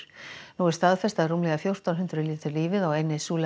nú er staðfest að rúmlega fjórtán hundruð létu lífið á eynni